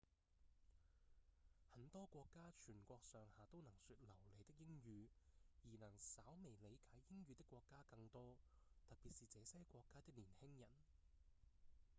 很多國家全國上下都能說流利的英語而能稍微理解英語的國家更多特別是這些國家的年輕人